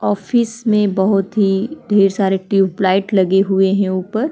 Office में बहुत ही ढेर सारे टियूबलाइट लगे हुए है उपर।